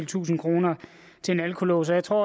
tusinde kroner til en alkolås jeg tror